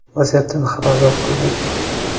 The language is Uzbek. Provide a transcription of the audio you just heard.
Vaziyatdan xabardor qildik.